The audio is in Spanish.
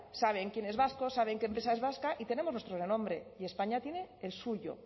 saben quién es vasco saben qué empresa es vasca y tenemos nuestro renombre y españa tiene el suyo